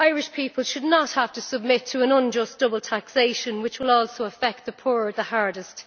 Irish people should not have to submit to an unjust double taxation, which will also affect the poor the hardest.